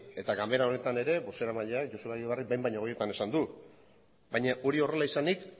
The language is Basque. eta ganbara honetan ere bozeramaileak ere joseba egibarrek ere behin baino gehiagotan esan du baina hori horrela izanik